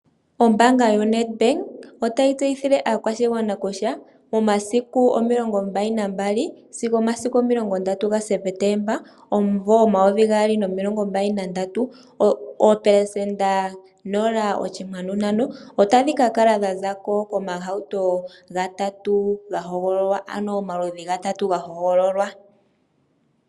Ombaanga yo Netbank otayi tseyithile aakashigwana kutya momasiku omilongo mbali nambali sigo momasiku omilongo ndatu gaSeptemba omumvo omayovi gaali nomimbali nandatu oopelesenda nola oshikwanu ntano otadhi ka kala dhazako komahauto gatata gahogololwa.